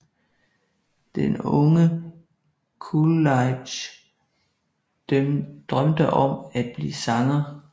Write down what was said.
Den unge Coolidge drømte om at blive sanger